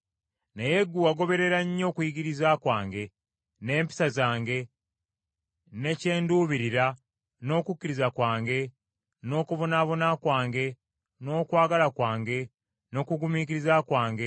Naye ggwe wagoberera nnyo okuyigiriza kwange, n’empisa zange, ne kye nduubirira, n’okukkiriza kwange n’okubonaabona kwange n’okwagala kwange, n’okugumiikiriza kwange,